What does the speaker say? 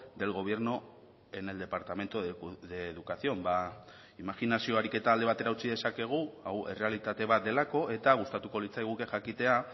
del gobierno en el departamento de educación ba imajinazio ariketa alde batera utzi dezakegu hau errealitate bat delako eta gustatuko litzaiguke jakitea